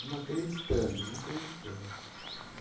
Não acreditando, não acreditando.